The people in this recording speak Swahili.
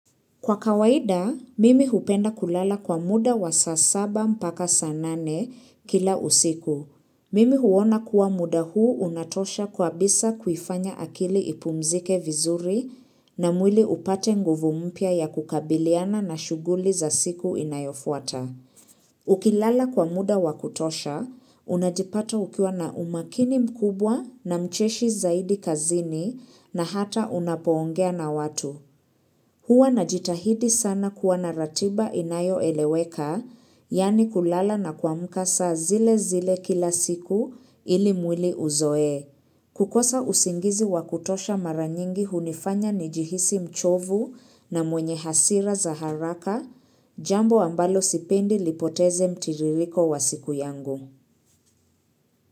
Kwa kawaida, mimi hupenda kulala kwa muda wa saa saba mpaka saa nane kila usiku. Mimi huwona kuwa muda huu unatosha kwa bisa kuifanya akili ipumzike vizuri na mwili upate nguvu mpya ya kukabiliana na shughuli za siku inayofuata. Ukilala kwa muda wakutosha, unajipata ukiwa na umakini mkubwa na mcheshi zaidi kazini na hata unapoongea na watu. Huwa na jitahidi sana kuwa na ratiba inayo eleweka, yani kulala na kuamka saa zile zile kila siku ili mwili uzoee. Kukosa usingizi wa kutosha mara nyingi hunifanya nijihisi mchovu na mwenye hasira za haraka, jambo ambalo sipendi lipoteze mtiririko wa siku yangu.